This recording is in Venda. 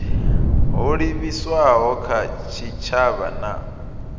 ho livhiswaho kha tshitshavha na